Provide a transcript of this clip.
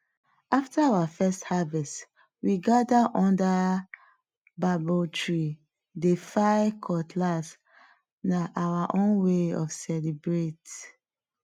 after our first harvest we gather under babo tree dey file cutlass na our own way of celebrate